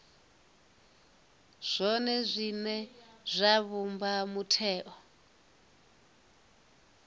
zwone zwine zwa vhumba mutheo